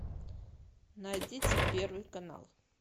найдите первый канал